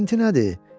Pint nədir?